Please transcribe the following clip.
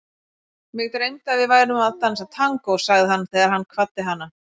Mig dreymdi að við værum að dansa tangó, sagði hann þegar hann kvaddi hana.